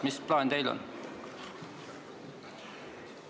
Mis plaan teil on?